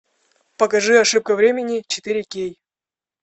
покажи ошибка времени четыре кей